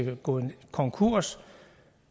gået konkurs